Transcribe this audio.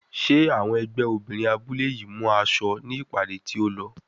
Ṣé àwọn ẹgbẹ́ obìnrin abúlé yìí mú aṣọ ní ìpàdé tí ó lọ?